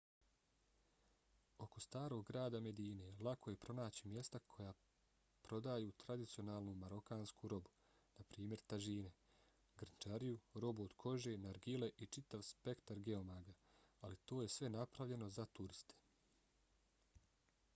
oko starog grada medine lako je pronaći mjesta koja prodaju tradicionalnu marokansku robu na primjer tažine grnčariju robu od kože nargile i čitav spektra geomaga ali to je sve napravljeno za turiste